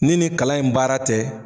Ni nin kalan in baara tɛ